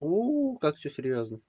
у как всё серьёзно